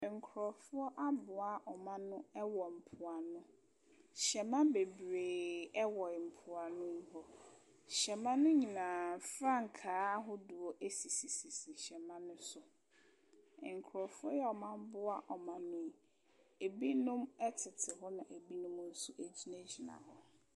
Nkrɔfoɔ aboa wɔn ano wɔ mpoano. Hyɛma bebree wɔ mpoano hɔ. Hyɛma no nyinaa frankaa ahodoɔ sisi hyɛma no so. Nkrɔfoɔ a aboa wɔn ano yi, ebinom tete hɔ na ebi nso gyinagyina hɔ.